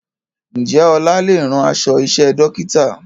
Ǹjẹ́ ọlá lè rán aṣọ iṣẹ́ Dókítà?